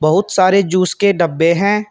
बहुत सारे जूस के डब्बे हैं।